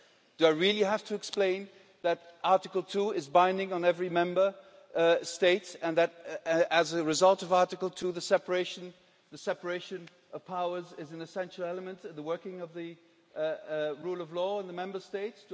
Do I really have to explain that Article 2 is binding on every Member State and that, as a result of Article 2, the separation of powers is an essential element of the working of the rule of law in the Member States?